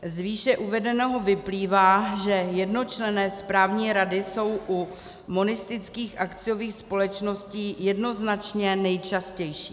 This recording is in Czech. Z výše uvedeného vyplývá, že jednočlenné správní rady jsou u monistických akciových společností jednoznačně nejčastější.